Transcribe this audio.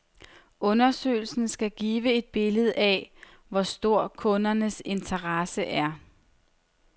Undersøgelsen skal give et billede af, hvor stor kundernes interesse er.